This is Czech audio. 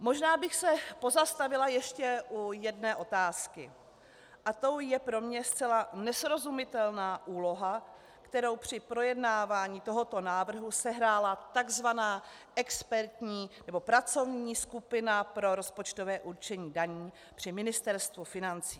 Možná bych se pozastavila ještě u jedné otázky a tou je pro mě zcela nesrozumitelná úloha, kterou při projednávání tohoto návrhu sehrála tzv. expertní nebo pracovní skupina pro rozpočtové určení daní při Ministerstvu financí.